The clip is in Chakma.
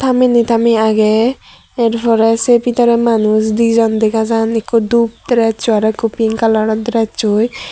tameney tamet agey yar porey se bidare dijon manuj degajan ikko dub dressing aro ikko pink kalaror deressoi.